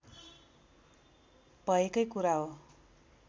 भएकै कुरा हो